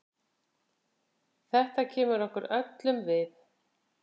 Þetta kemur okkur öllum við.